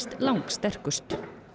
lang sterkust